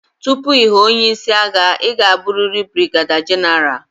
Tupu ị ghọọ onye isi agha, ị ga-abụrịrị brigeda genaral.